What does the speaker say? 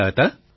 Shri Hari જી